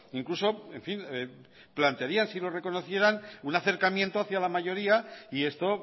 incluso en fin plantearían si no reconocieran un acercamiento hacia la mayoría y esto